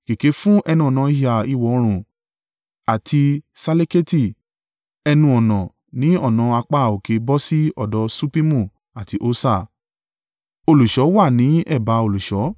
Kèké fún ẹnu-ọ̀nà ìhà ìwọ̀-oòrùn àti Ṣaleketi ẹnu-ọ̀nà ní ọ̀nà apá òkè bọ́ sí ọ̀dọ̀ Ṣuppimu àti Hosa. Olùṣọ́ wà ní ẹ̀bá olùṣọ́.